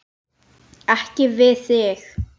Beint strik inn til sín.